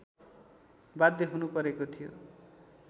बाध्य हुनुपरेको थियो